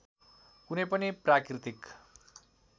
कुनै पनि प्राकृतिक